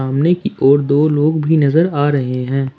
सामने की ओर दो लोग भी नज़र आ रहे हैं।